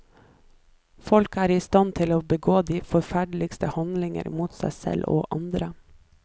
Folk er istand til å begå de forferdeligste handlinger mot seg selv og andre.